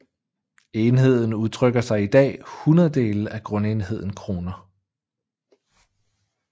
Enheden udtrykker i dag hundrededele af grundenheden kroner